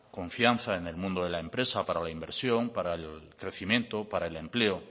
confianza en el mundo de la empresa para la inversión para el crecimiento para el empleo